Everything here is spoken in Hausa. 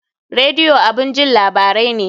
Radio abun jin labarai ne